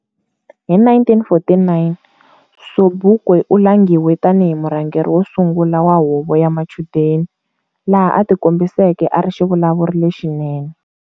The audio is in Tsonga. Hi 1949 Sobukwe u langhiwe tani hi murhangeri wo sungula wa huvo ya machudeni, laha atikombiseke ari xivulavuri lexinene.